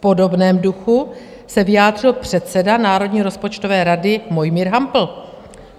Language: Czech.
V podobném duchu se vyjádřil předseda Národní rozpočtové rady Mojmír Hampl.